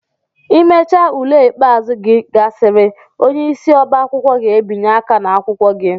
Imecha ule ikpeazụ gị gasịrị, onyeisi ọbá akwụkwọ ga-ebinye aka ná akwụkwọ gị.